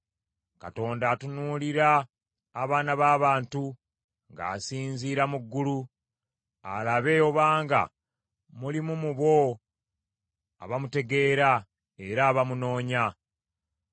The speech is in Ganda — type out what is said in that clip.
Katonda atunuulira abaana b’abantu ng’asinziira mu ggulu, alabe obanga mulimu mu bo abamutegeera era abamunoonya.